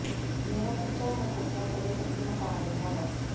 ਮੇਰਾ ਕੱਚਾ ਹੈ ਕੋਠਾ ਤੇਰੇ ਪੱਕੇ ਮਕਾਨ ਦੇ ਨਾਲੋਂ